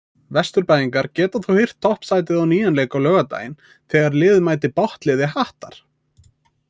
Vesturbæingar geta þó hirt toppsætið á nýjan leik á laugardaginn þegar liðið mætir botnliði Hattar.